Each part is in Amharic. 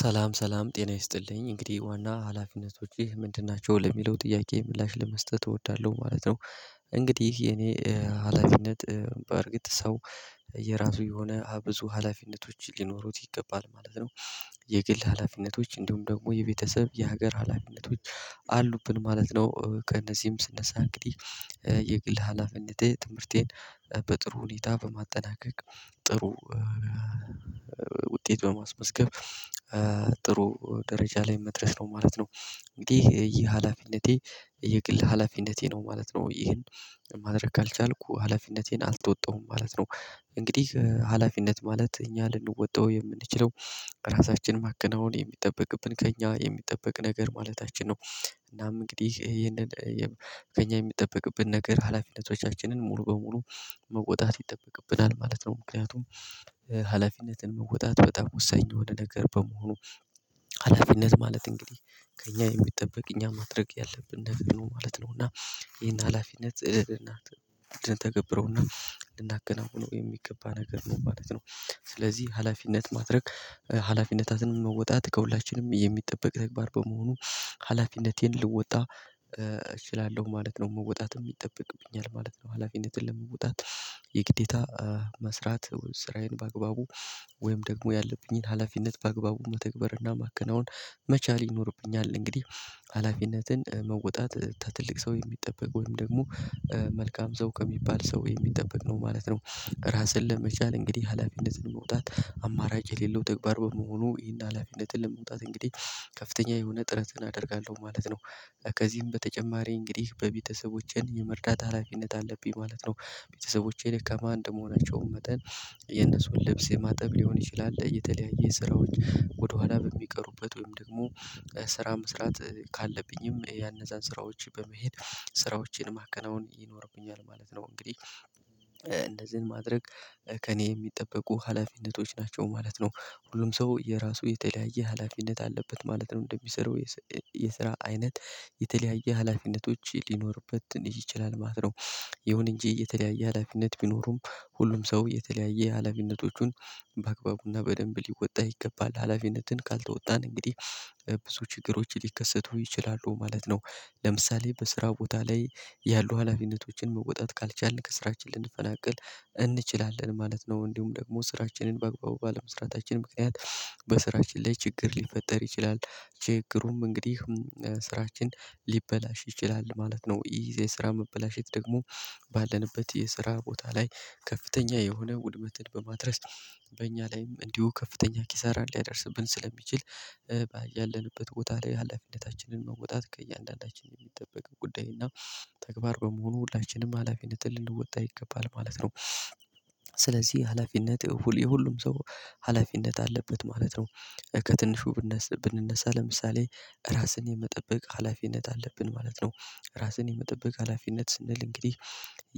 ሰላም ሰላም ጤና ይስጥልኝ እንግዲህ ዋና ሀላፊነቶች ይህ ምንድን ናቸው ለሚለው ጥያቄ ምላሽ ለመስጠት እወዳለሁ ማለት ነው። እንግዲህ የኔ ሀላፊነት በእርግጥ ሰው የራሱ የሆነ ብዙ ሀላፊነቶች ሊኖሩት ይገባል ማለት ነው። የግል ሀላፊነቶች እንደውም ደግሞ የቤተሰብ የሀገር ሀላፊነቶች አሉብን ማለት ነው። ከእነዚህም ስነሳ እንግዲህ የግል ሀላፊነቴ ትምህርቴን በጥሩ ሁኔታ በማጠናቀቅ ጥሩ ውጤት በማስመዝገብ ጥሩ ደረጃ ላይ መድረስ ነው ማለት ነው። እንግዲህ ይሄ ሀላፊነቴ የግል ሀላፊነቴ ነው ማለት ነው ይህን ማድረግ ካልቻልኩ ሀላፊነቴን አልተወጣሁም ማለት ነው። እንግዲህ ሀላፊነት ማለት እኛ ልንወጣው የምንችለው ራሳችን ማከናወን የሚጠበቅብን ከእኛ የሚጠበቅ ነገር ማለታችን ነው። እናም እንግዲህ ይሄንን ከእኛ የሚጠበቅብን ነገር ሀላፊነቶቻችንን ሙሉ በሙሉ መውጣት ይጠበቅብናል ማለት ነው። ምክንያቱም ሀላፊነትን መወጣት በጣም ወሳኝ የሆነ ነገር በመሆኑ። ሀላፊነት ማለት እንግዲህ ከእኛ የሚጠበቅ እኛ ማድረግ ያለብን ነገር ነው ማለት ነው። እና ይሄን ሀላፊነት ልንተገብረውና ልናከናውነው የሚገባ ነገር ነው ማለት ነው። ስለዚህ ሀላፊነት ማድረግ ሀላፊነታትን መወጣት ከሁላችንም የሚጠበቅ ተግባር በመሆኑ። ሀላፊነቴን ልወጣ እችላለሁ ማለት ነው መወጣት ይጠበቅብኛል ማለት ነው። ሀላፊነትን ለመውጣት የግዴታ መስራት ስራዬን በአግባቡ ወይም ደግሞ ያለብኝን ሀላፊነት በአግባቡ መተግበርና እና ማከናወን መቻል ይኖርብኛል። እንግዲህ ሀላፊነትን መወጣት ከትልቅ ሰው የሚጠበቅ ወይም ደግሞ መልካም ሰው ከሚባል ሰው የሚጠበቅ ነው ማለት ነው። ራስን ለመቻል እንግዲህ ሀላፊነትን ለመውጣት አማራጭ የሌለው ተግባር በመሆኑ ይህን ሀላፊነትን ለመውጣት እንግዲህ ከፍተኛ የሆነ ጥረትን አደርጋለሁ ማለት ነው። ከዚህም በተጨማሪ እንግዲህ በቤተሰቦቼን የመርዳት ሀላፊነት አለብኝ ማለት ነው። ቤተሰቦቼ ደካማ እንደ መሆናቸውም መጠን የነሱን ልብስ የማጠብ ሊሆን ይችላል የተለያየ ስራዎች ወደኋላ በሚቀሩበት ወይም ደግሞ ስራ መስራት ካለብኝም ያነዛን ስራዎች በመሄድ ስራዎችን ማከናወን ይኖርብኛል ማለት ነው። እንግዲህ እንዚህን ማድረግ ከእኔ የሚጠበቁ ሀላፊነቶች ናቸው ማለት ነው። ሁሉም ሰው የራሱ የተለያየ ሀላፊነት አለበት ማለት ነው እንደሚሰራው የስራ አይነት የተለያየ ሀላፊነቶች ሊኖርበት ይችላል ማለት ነው። ይሁን እንጂ የተለያየ ሀላፊነት ቢኖሩም ሁሉም ሰው የተለያየ ሀላፊነቶቹን በአግባቡና በደንብ ሊወጣ ይገባል ሀላፊነትን ካልተወጣን እንግዲህ ብዙ ችግሮች ሊከሰቱ ይችላሉ ማለት ነው። ለምሳሌ በስራው ቦታ ላይ ያሉ ሀላፊነቶችን መወጣት ካልቻልን ከስራችን ልንፈናቅል እንችላለን ማለት ነው። እንዲሁም ደግሞ ስራችንን በአግባቡ ባለመስራታችን ምክንያት በስራችን ላይ ችግር ሊፈጠር ይችላል። ችግሩም እንግዲህ ስራችን ሊበላሽ ይችላል ማለት ነው። ይሄ የስራ መበላሸት ደግሞ ባለንበት የስራ ቦታ ላይ ከፍተኛ የሆነ ውድመትን በማድረስ በእኛ ላይም እንዲሁ ከፍተኛ ኪሳራን ሊያደርስብን ስለሚችል። ያለንበት ቦታ ላይ ሀላፊነታችንን መወጣት ከእያንዳንዳችን የሚጠበቅ ጉዳይ እና ተግባር በመሆኑ ሁላችንም ሀላፊነትን ልንወጣ ይገባል ማለት ነው። ስለዚህ ሀላፊነት የሁሉም ሰው ሀላፊነት አለበት ማለት ነው። ከትንሹ ብንነሳ ለምሳሌ ራስን የመጠበቅ ሀላፊነት አለብን ማለት ነው። ራስን የመጠበቅ ሀላፊነት ስንል እንግዲህ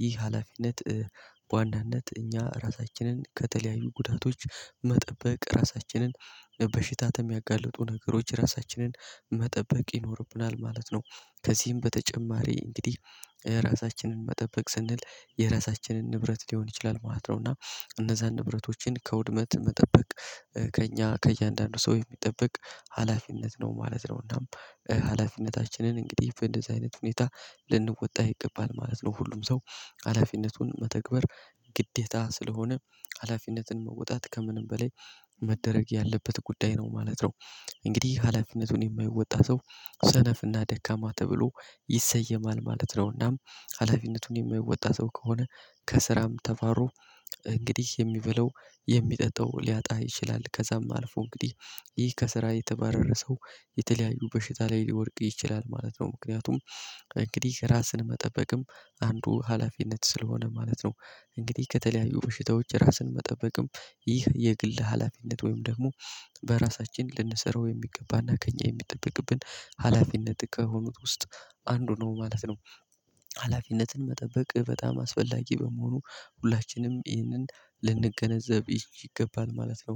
ይህ ሀላፊነት በዋናነት እኛ ራሳችንን ከተለያዩ ጉዳቶች መጠበቅ ራሳችንን በሽታን ከሚያጋልጡ ነገሮች ራሳችንን መጠበቅ ይኖርብናል ማለት ነው። ከዚህም በተጨማሪ እንግዲህ ራሳችንን መጠበቅ ስንል የራሳችንን ንብረት ሊሆን ይችላል ማለት ነው። እና እነዛን ንብረቶችን ከውድመት መጠበቅ ከእኛ ከእያንዳንዱ ሰው የሚጠብቅ ሀላፊነት ነው ማለት ነው። እና ሀላፊነታችንን እንግዲህ እንደዚህ አይነት ሁኔታ ልንወጣ ይገባል ማለት ነው። ሁሉም ሰው ሀላፊነቱን መተግበር ግዴታ ስለሆነ ሀላፊነትን መወጣት ከምንም በላይ መደረግ ያለበት ጉዳይ ነው ማለት ነው። እንግዲህ ሀላፊነቱን የማይወጣ ሰው ሰነፍ እና ደካማ ተብሎ ይሰየማል ማለት ነውናም ሀላፊነቱን የማይወጣ ሰው ከሆነ ከስራም ተባሮ እንግዲህ የሚበለው የሚጠጠው ሊያጣ ይችላል። ከዛም አልፎ እንግዲህ ይህ ከስራ የተባረረ ሰው የተለያዩ በሽታ ላይ ሊወድቅ ይችላል ማለት ነው። ምክንያቱም እንግዲህ ራስን መጠበቅም አንዱ ሀላፊነት ስለሆነ ማለት ነው። እንግዲህ ከተለያዩ በሽታዎች ራስን መጠበቅም ይህ የግል ሀላፊነት ወይም ደግሞ በራሳችን ልንሰራው የሚገባና ከእኛ የሚጠበቅብን ሀላፊነት ከሆኑት ውስጥ አንዱ ነው ማለት ነው። ሀላፊነትን መጠበቅ በጣም አስፈላጊ በመሆኑ ሁላችንም ይህንን ልንገነዘብ ይገባል ማለት ነው።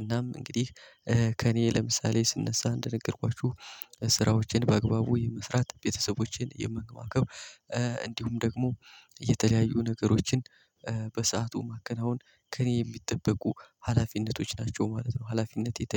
እናም እንግዲህ ከእኔ ለምሳሌ ስነሳ እንደነገርኳችሁ ስራዎችን በአግባቡ የመስራት ቤተሰቦችን የመንከባከብ እንዲሁም ደግሞ የተለያዩ ነገሮችን በሰአቱ ማከናወን ከእኔ የሚጠበቁ ሀላፊነቶች ናቸው ማለት ነው። ሀላፊነት የተለየ